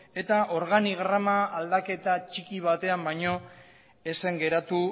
eta organigrama aldaketa txiki batean baino ez zen geratu